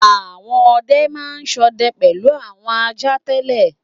Àwọn ọdẹ máa ń ṣọdẹ pẹ̀lú àwọn ajá tẹ́lẹ̀.